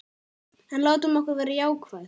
En látum okkur vera jákvæð.